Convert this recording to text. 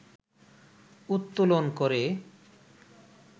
উত্তোলন করে